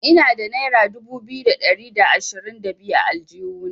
Ina da naira dubu biyu da ɗari da ashirin da biyu a aljihuna.